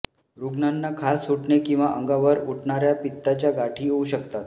रुग्णांना खाज सुटणे किंवा अंगावर उठणार्या पित्ताच्या गाठी येऊ शकतात